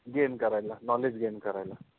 GAIN करायला, KNOWLEDGE GAIN करायला